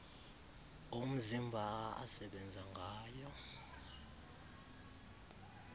omzimba asebenza ngayo